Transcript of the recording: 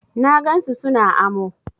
Na gan su su na amo.